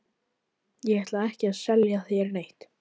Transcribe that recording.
Ég ætla ekki að selja þér neitt.